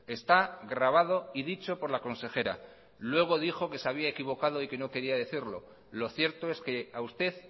está grabado y dicho por la consejera luego dijo que se había equivocado y que no quería decirlo lo cierto es que a usted